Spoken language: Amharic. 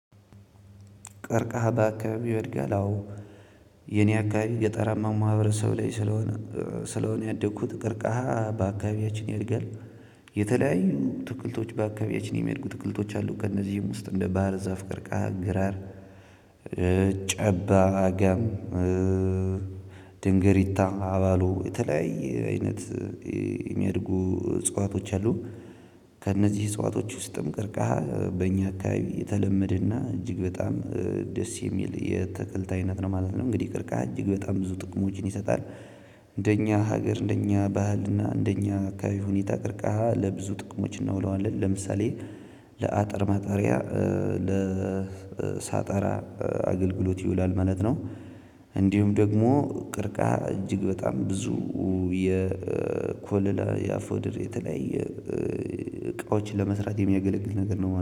ቀርቀሃ ባካባቢው ያድጋል? አዎ! የኔ አካባቢ ገጠራማው ማህበረሰብ ላይ ስለሆነ ያደግኩት ቀርቀሃ በአካባቢያችን ያድጋል። የተለያዩ አትክልቶች በአካባቢያችን የሚያድጉ አትክልቶች አሉ። ከእነዚህም ውስጥ እንደ ባህር ዛፍ፣ ቀርቀሃ፣ ግራር፣ ጨባ፣ አጋም፣ ድንግሪታ፣ አባሎ፣ የተለያየ አይነት የሚያድጉ እጽዋቶች አሉ። ከእነዚህ እጽዋቶች ውስጥም ቀርቀሃ በእኛ አካባቢ የተለመደና እጅግ በጣም ደስ የሚል የአታክልት አይነት ነው ማለት ነው። እንግዲህ ቀርቀሃ እጅግ በጣም ብዙ ጥቅሞችን ይሰጣል። እንደኛ ሀገር፤ እንደኛ ባህልና እንደኛ አካባቢ ሁኔታ ቀርቀሃ ለብዙ ጥቅሞች እናውለዋለን። ለምሳሌ ለአጥር ማጠሪያ፣ ለሳጣራ አገልግሎት ይውላል ማለት ነው። እንዲሁም ደግሞ ቀርቀሃ እጅግ በጣም ብዙ የኮለላ፣ የአፎድር የተለያየ እቃዎችን ለመስራት የሚያገለግል ነገር ነው።